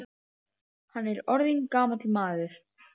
Hann er orðinn gamall maður.